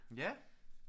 Ja